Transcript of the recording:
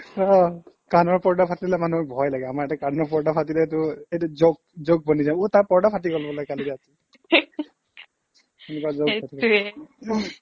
অ' কাণৰ পৰ্দা ফাটিলে মানুহৰ এতিয়া ভয় লাগে আমাৰ এতিয়া কাণৰ পৰ্দা ফাটিলেতো এইটো joke joke বনি যাব অ' তাৰ পৰ্দা ফাটি গ'ল বোলে কালি ৰাতি এনেকুৱা joke